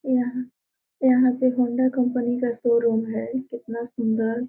यहाँ यहाँ पे हौंडा कंपनी का शोरूम है कितना सुंदर।